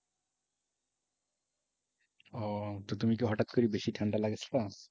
ও তো তুমি কি হঠাৎ করে বেশি ঠান্ডা লাগাই ছিলা?